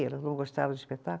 Elas não gostaram do espetáculo?